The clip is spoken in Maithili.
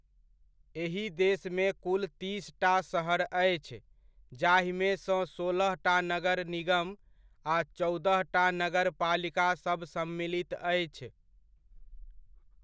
एही देशमे कुल तीसटा शहर अछि, जाहिमे सँ सोलहटा नगर निगम आ चौदहटा नगरपालिका सब सम्मिलित अछि।